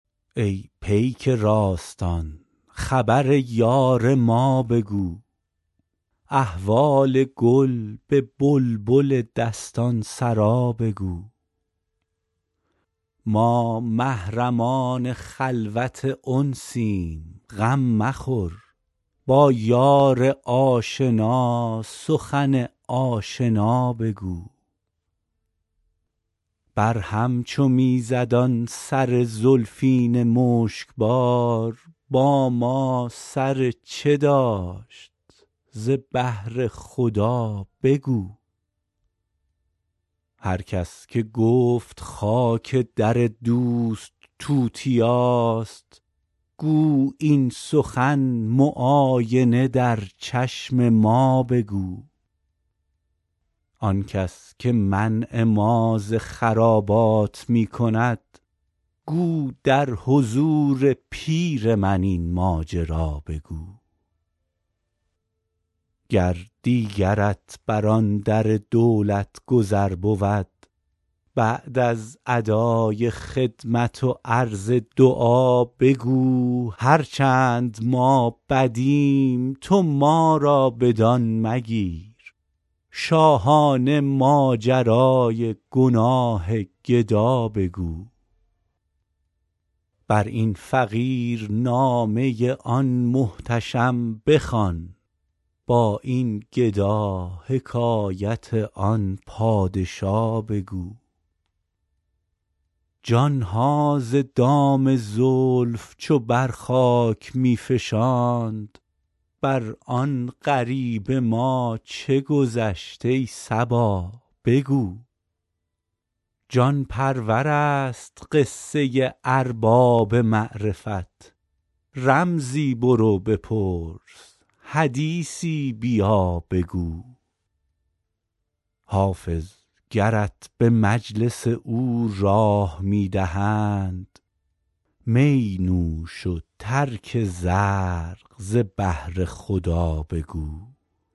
ای پیک راستان خبر یار ما بگو احوال گل به بلبل دستان سرا بگو ما محرمان خلوت انسیم غم مخور با یار آشنا سخن آشنا بگو بر هم چو می زد آن سر زلفین مشک بار با ما سر چه داشت ز بهر خدا بگو هر کس که گفت خاک در دوست توتیاست گو این سخن معاینه در چشم ما بگو آن کس که منع ما ز خرابات می کند گو در حضور پیر من این ماجرا بگو گر دیگرت بر آن در دولت گذر بود بعد از ادای خدمت و عرض دعا بگو هر چند ما بدیم تو ما را بدان مگیر شاهانه ماجرای گناه گدا بگو بر این فقیر نامه آن محتشم بخوان با این گدا حکایت آن پادشا بگو جان ها ز دام زلف چو بر خاک می فشاند بر آن غریب ما چه گذشت ای صبا بگو جان پرور است قصه ارباب معرفت رمزی برو بپرس حدیثی بیا بگو حافظ گرت به مجلس او راه می دهند می نوش و ترک زرق ز بهر خدا بگو